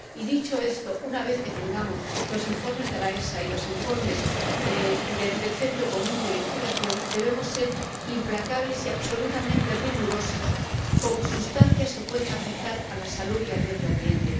Y dicho esto, una vez que tengamos los informes de la EFSA y los informes del Centro Común de Investigación, debemos ser implacables y absolutamente rigurosos con sustancias que pueden afectar a la salud y al medio ambiente.